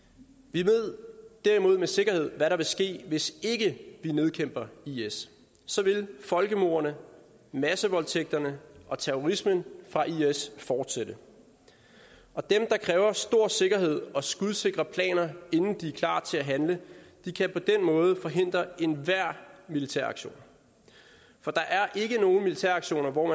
vi ved derimod med sikkerhed hvad der vil ske hvis ikke vi nedkæmper is så vil folkemordene massevoldtægterne og terrorismen fra is fortsætte og dem der kræver stor sikkerhed og skudsikre planer inden de er klar til at handle kan på den måde forhindre enhver militæraktion for der er ikke nogen militæraktioner hvor